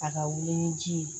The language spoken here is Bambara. A ka wuli ni ji ye